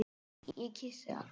Ég kyssi hann.